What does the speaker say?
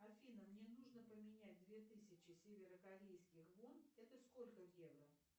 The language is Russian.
афина мне нужно поменять две тысячи северокорейских вон это сколько евро